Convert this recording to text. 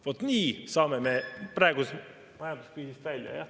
Vot nii saame me praegusest majanduskriisist välja.